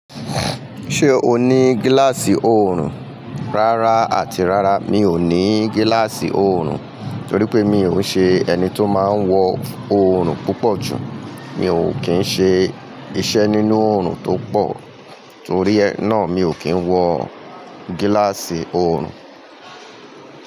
Ṣé o ní gíláàsì oòrùn? Rárá àti rárá mi ò ní gíláàsì oòrùn, torí pé mi ò ṣe ẹni tó máa ń wọ oòrùn púpọ̀ jù. Mi ò kín ń ṣe iṣẹ́ nínú oòrùn tó pọ̀, torí ẹ náà mi ò kí ń wọ gíláàsì oòrùn.